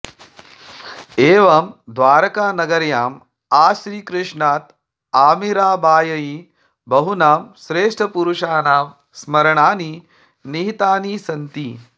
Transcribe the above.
एवं द्वारकानगर्याम् आश्रीकृष्णात् आमीराबाय्इ बहूनां श्रेष्ठपुरुषाणां स्मरणानि निहितानि सन्ति